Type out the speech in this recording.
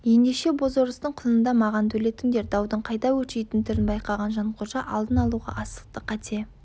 ендеше бозорыстың құнын да маған төлетіңдер даудың қайта өршитін түрін байқаған жанқожа алдын алуға асықты қате